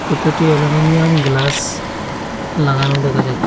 প্রতিটি aluminium glass লাগানো দেখা যাছ--